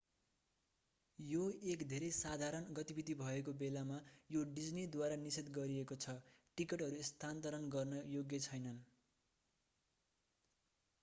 यो एक धेरै साधारण गतिविधि भएको बेलामा यो डिज्नीद्वारा निषेध गरिएको छ टिकटहरू स्थानान्तरण गर्न योग्य छैनन्